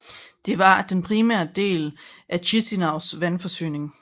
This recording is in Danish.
Det var den primære del af Chişinăus vandforsyning